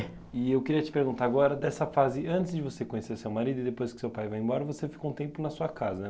É. E eu queria te perguntar agora, dessa fase, antes de você conhecer seu marido e depois que seu pai vai embora, você ficou um tempo na sua casa, né?